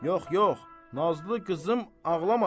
Yox, yox, Nazlı qızım ağlamasın.